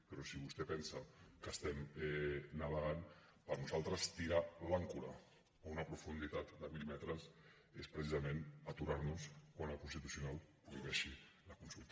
però si vostè pensa que estem navegant per nosaltres tirar l’àncora a una profunditat de mil metres és precisament aturar nos quan el constitucional prohibeixi la consulta